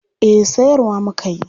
Eh sayarwa muka yi.